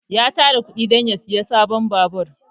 Ya tara kuɗi dan ya saya sabon babur